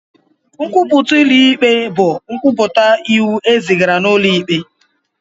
Nkwupụta ụlọ ikpe bụ nkwupụta iwu e zigara n'ụlọ ikpe.